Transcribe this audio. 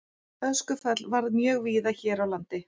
Öskufall varð mjög víða hér á landi.